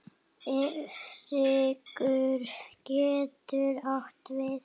Hryggur getur átt við